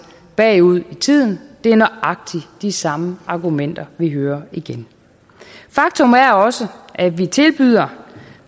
bagud i tiden det er nøjagtig de samme argumenter vi hører igen faktum er også at vi tilbyder